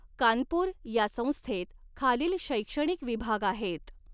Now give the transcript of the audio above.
कानपूर या संस्थेत खालील शै़क्षणिक विभाग आहेत